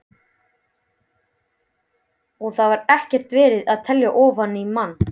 Og þar var ekki verið að telja ofan í mann.